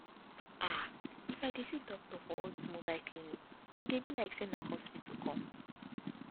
ahh if i dey see doctor for all this mobile clinic e dey be like say na hospital come